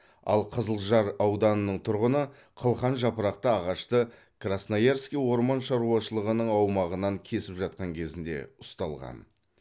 ал қызылжар ауданының тұрғыны қылқан жапырақты ағашты красноярский орман шаруашылығының аумағынан кесіп жатқан кезінде ұсталған